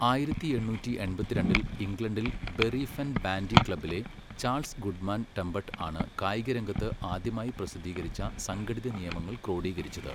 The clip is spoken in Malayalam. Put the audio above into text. ആയിരത്തി എണ്ണൂറ്റി എൺത്തിരണ്ടിൽ ഇംഗ്ലണ്ടിൽ ബറി ഫെൻ ബാൻഡി ക്ലബ്ബിലെ ചാൾസ് ഗുഡ്മാൻ ടെംബട്ട് ആണ് കായികരംഗത്ത് ആദ്യമായി പ്രസിദ്ധീകരിച്ച സംഘടിത നിയമങ്ങൾ ക്രോഡീകരിച്ചത്.